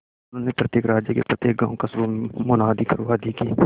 उन्होंने प्रत्येक राज्य के प्रत्येक गांवकस्बों में मुनादी करवा दी कि